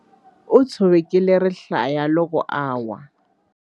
U tshovekile rihlaya loko a lwa.